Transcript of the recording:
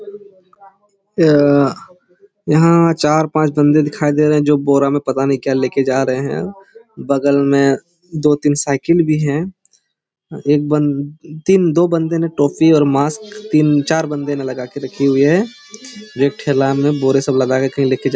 यह्ह्ह यहां चार-पांच बंदे दिखाई दे रहे है जो बोरा मे पता नही क्या लेके जा रहे है बगल में दो-तीन साइकिल भी है एक बन तीन दो बंदे ने टोपी और मास्क तीन-चार बंदे ने लगा के रखी है जो एक ठेला मे बोरे सब लाधा के कही लेके जा--